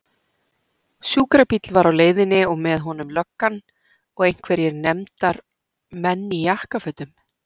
Sjúkrabíll var á leiðinni og með honum löggan og einhverjir nefndar- menn í jakkafötum.